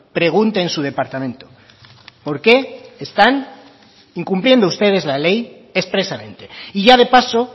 pregunte en su departamento por qué están incumpliendo ustedes la ley expresamente y ya de paso